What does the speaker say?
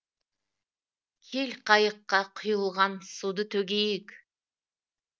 кел қайыққа құйылған суды төгейік